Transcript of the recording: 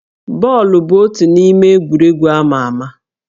Bọọlụ bụ otu n'ime egwuregwu amà amà